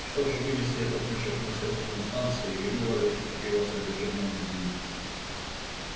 что ж вынеси этот мешок на середину станции и вывали его содержимое на землю